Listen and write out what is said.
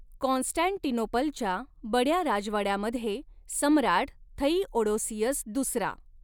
कॉन्स्टॅन्टिनोपलच्या बड्या राजवाड्यामध्ये सम्राट थइओडोसियस दुसरा